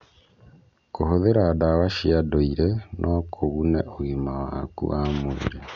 Kũhũthĩra ndawa cia ndũire no kũgune ũgima waku wa mwĩrĩ.